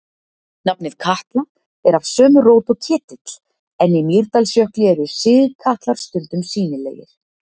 Nafnið Katla er af sömu rót og ketill, en í Mýrdalsjökli eru sigkatlar stundum sýnilegir.